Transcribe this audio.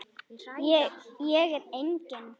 Ég er engin.